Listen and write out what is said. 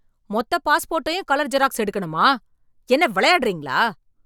மொத்த பாஸ்போட்டையும் colour xerox எடுக்கணுமா? என்ன விளையாடுறீங்களா?